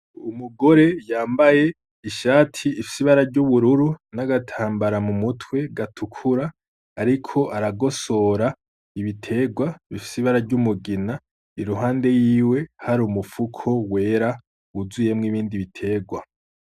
Umugore yambaye ishati ifise ibara ry’ubururu n’agatambara mu mutwe gatukura, ariko aragosora ibiterwa bifise ibara ry’umugina, iruhande yiwe hari umufuko wera wuzuyemwo ibindi biterwa.